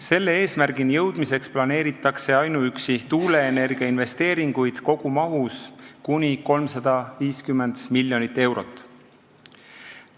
Selle eesmärgini jõudmiseks planeeritakse ainuüksi tuuleenergia investeeringuid kogumahus kuni 350 miljonit eurot.